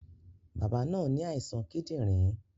Bàbá náà ní àìsàn kídìrín